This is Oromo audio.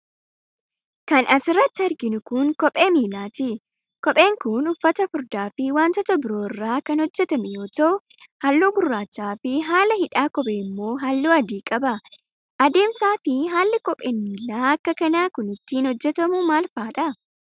Kan as irratti arginu kun, kophee miilaati. Kopheen kun, uffata furdaa fi wantoota biroo irraa kan hojjatame yoo ta'u, haalluu gurraacha fi haala hidhaa kophee immoo haalluu adii qaba. Adeemsa fi haalli kopheen miilaa akka kanaa kun ittiin hojjatamu maalfaa dha?